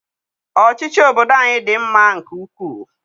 Ọchịchị obodo anyị dị mma nke ukwu.